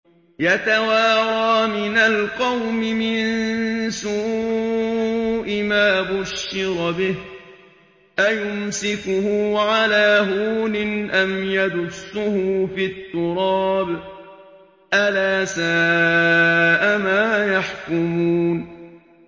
يَتَوَارَىٰ مِنَ الْقَوْمِ مِن سُوءِ مَا بُشِّرَ بِهِ ۚ أَيُمْسِكُهُ عَلَىٰ هُونٍ أَمْ يَدُسُّهُ فِي التُّرَابِ ۗ أَلَا سَاءَ مَا يَحْكُمُونَ